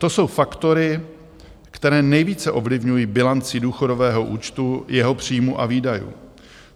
To jsou faktory, které nejvíce ovlivňují bilanci důchodového účtu, jeho příjmů a výdajů.